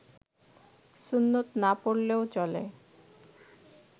সুন্নত না পড়লেও চলে